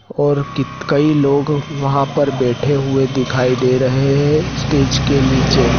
और कित कई लोग वहां पर बैठे हुए दिखाई दे रहे हैं। स्टेज के नीचे।